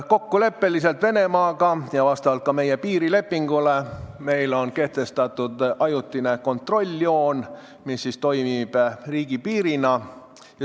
Kokkuleppel Venemaaga ja vastavalt ka meie piirilepingule on kehtestatud ajutine kontrolljoon, mis toimib riigipiirina.